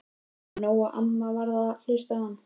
Mér var skipað að leita í nokkrum þýskulegum sveitahúsum.